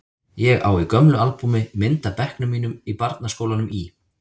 Ég á í gömlu albúmi mynd af bekknum mínum í barnaskólanum í